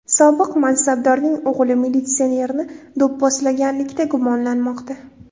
Sobiq mansabdorning o‘g‘li militsionerni do‘pposlaganlikda gumonlanmoqda.